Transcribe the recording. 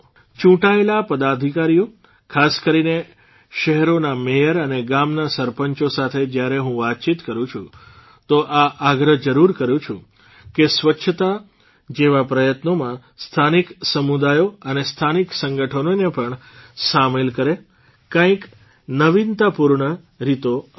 ચૂંટાયેલા પદાધિકારીઓ ખાસ કરીને શહેરોના મેયર અને ગામોના સરપંચો સાથે જ્યારે હું વાતચીત કરું છું તો એ આગ્રહ જરૂર કરું છું કે સ્વચ્છતા જેવા પ્રયત્નોમાં સ્થાનિક સમુદાયો અને સ્થાનિક સંગઠ્ઠનોને પણ સામેલ કરે કંઇક નવીનતાપૂર્ણ રીતો અપનાવે